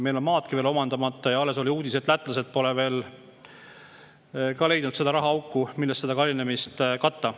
Meil on osa maidki veel omandamata ja alles oli uudis, et lätlased pole ka veel leidnud seda rahaauku, millest seda kallinemist katta.